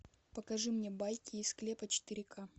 покажи мне байки из склепа четыре ка